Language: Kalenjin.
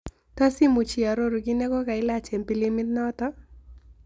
Tos'imuch iaroru kit negogailach eng' pilimit noton